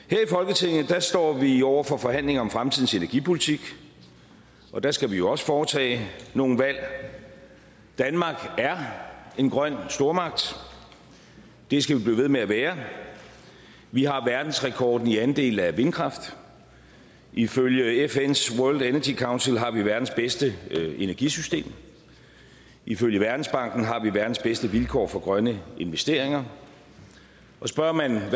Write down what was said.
her i folketinget står vi over for forhandlinger om fremtidens energipolitik og der skal vi jo også foretage nogle valg danmark er en grøn stormagt det skal vi blive ved med at være vi har verdensrekord i andel af vindkraft ifølge fns world energy council har vi verdens bedste energisystem ifølge verdensbanken har vi verdens bedste vilkår for grønne investeringer og spørger man